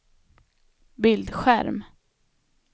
bildskärm